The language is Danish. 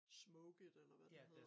Smoke it eller hvad det hedder